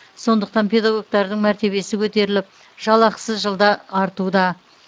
сондықтан педагогтардың мәртебесі көтіріліп жалақысы жылда артуда